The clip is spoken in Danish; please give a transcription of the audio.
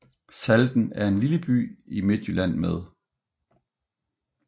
Salten er en lille by i Midtjylland med